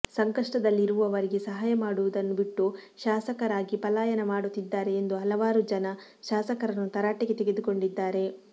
ಸಂಕಷ್ಟದಲ್ಲಿರುವವರಿಗೆ ಸಹಾಯ ಮಾಡುವುದನ್ನು ಬಿಟ್ಟು ಶಾಸಕರಾಗಿ ಪಲಾಯನ ಮಾಡುತ್ತಿದ್ದಾರೆ ಎಂದು ಹಲವಾರು ಜನ ಶಾಸಕರನ್ನು ತರಾಟೆಗೆ ತೆಗೆದುಕೊಂಡಿದ್ದಾರೆ